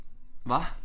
Hvad?